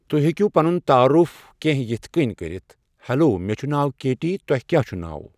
تُہۍ ہیکِو پنُن تعارُف کٮ۪نٛہہ یِتھ کٔنۍ کٔرِتھ 'ہیلو، مےٚ چھُ ناو کیٹی، تُۄہہِ کیا چھُ ناو؟